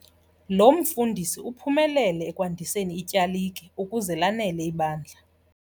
Lo mfundisi uphumelele ekwandiseni ityalike ukuze lanele ibandla.